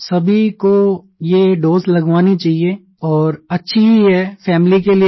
सभी को ये दोसे लगवाना चाहिए और अच्छी ही है फैमिली के लिए भी